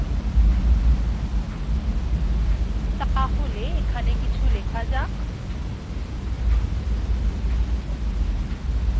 তাহলে এখানে কিছু লেখা যাক